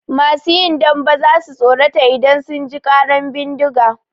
Masu yin dambe za su tsorata idan sun ji ƙaran bindiga.